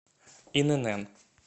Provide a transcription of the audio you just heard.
инн